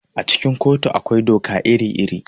A cikin kotu akwai doka iri-iri.